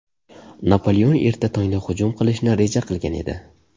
Napoleon erta tongda hujum qilishni reja qilgan edi.